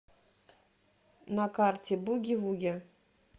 на карте буги вуги